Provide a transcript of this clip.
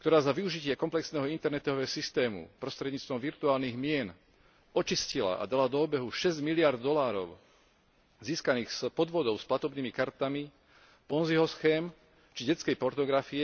ktorá za využitia komplexného internetového systému prostredníctvom virtuálnych mien očistila a dala do obehu šesť miliárd dolárov získaných z podvodov s platobnými kartami, Ponziho schém či detskej pornografie,